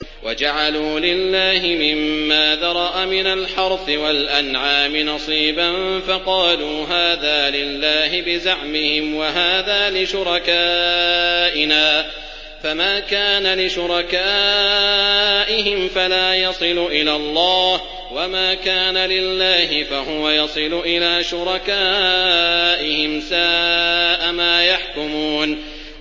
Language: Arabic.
وَجَعَلُوا لِلَّهِ مِمَّا ذَرَأَ مِنَ الْحَرْثِ وَالْأَنْعَامِ نَصِيبًا فَقَالُوا هَٰذَا لِلَّهِ بِزَعْمِهِمْ وَهَٰذَا لِشُرَكَائِنَا ۖ فَمَا كَانَ لِشُرَكَائِهِمْ فَلَا يَصِلُ إِلَى اللَّهِ ۖ وَمَا كَانَ لِلَّهِ فَهُوَ يَصِلُ إِلَىٰ شُرَكَائِهِمْ ۗ سَاءَ مَا يَحْكُمُونَ